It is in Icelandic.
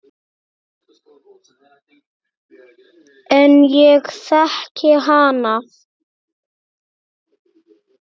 En ég þekki hana.